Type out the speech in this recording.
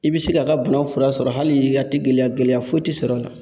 I be se ka ka bana fura sɔrɔ hali a ti gɛlɛya gɛlɛya foyi ti sɔrɔ a la.